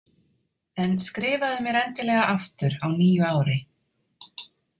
En skrifaðu mér endilega aftur á nýju ári.